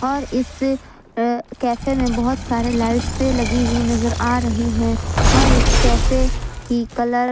और इस अ कैफे में बहुत सारे लाइट्से लगी हुई नजर आ रही हैं और इस कैफे की कलर --